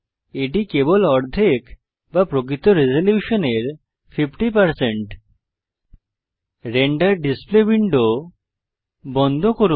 এটি কেবল অর্ধেক বা প্রকৃত রেজল্যুশনের 50 রেন্ডার ডিসপ্লে উইন্ডো বন্ধ করুন